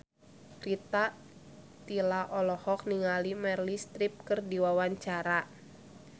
Rita Tila olohok ningali Meryl Streep keur diwawancara